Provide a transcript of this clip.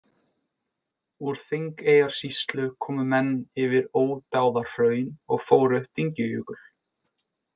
Úr Þingeyjarsýslu komu menn yfir Ódáðahraun og fóru upp Dyngjujökul.